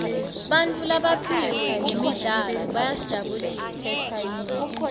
bantfu labaphiwe ngemidlalo bayasijabulisa